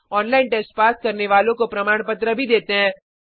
online test pass करने वालों को प्रमाण पत्र भी देते हैं